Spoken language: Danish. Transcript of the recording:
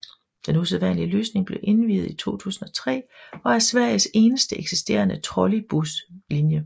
Den usædvanlige løsning blev indviet i 2003 og er Sveriges eneste eksisterende trolleybuslinje